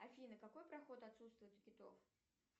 афина какой проход отсутствует у китов